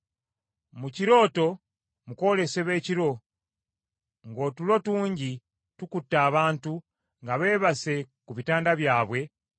Mu kirooto mu kwolesebwa ekiro ng’otulo tungi tukutte abantu nga beebase ku bitanda byabwe,